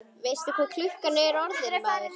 Veistu ekki hvað klukkan er orðin, maður?